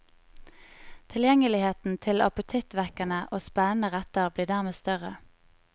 Tilgjengeligheten til appetittvekkende og spennende retter blir dermed større.